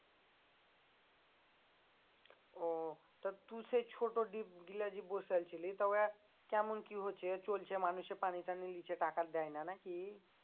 ও তা তু সে ছোট ডিপ গুলা যে বসাইছিলি তা ও কেমন কি হচ্ছে চলছে মানুষে পানি টানি লিচ্ছে টাকা দেয় না নাকি?